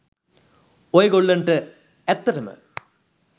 ඔය ගොල්ලන්ට ඇත්තටම